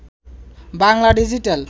Bangla digital